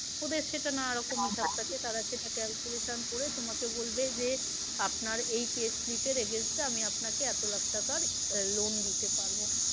ওদের সেটা নানা রকম হিসাব থাকে তারা সেটা calculation করে তোমাকে বলবে যে আপনার এই pay slip এর against এ আমি আপনাকে এতো লাখ টাকার loan দিতে পারবো।